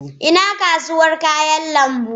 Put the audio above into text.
Ina kasuwar kayan lambu.